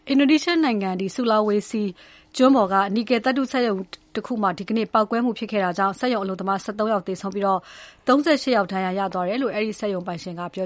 အင်ဒိုနီးရှားနိုင်ငံ ဆူလာဝေစီကျွန်းက နီကယ်သတ္တုထုတ်လုပ်တဲ့စက်ရုံမှာ ဒီနေ့ပေါက်ကွဲမှု ဖြစ်ပွားခဲ့တာကြောင့် စက်ရုံအလုပ်သမား ၁၃ ယောက် သေဆုံးပြီး၊ ၃၈ ယောက် ဒဏ်ရာရသွားတယ်လို့ အဲဒီစက်ရုံပိုင်ရှင်က ပြေ